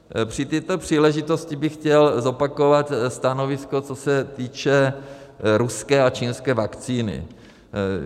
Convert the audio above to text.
Při této příležitosti bych chtěl zopakovat stanovisko, co se týče ruské a čínské vakcíny.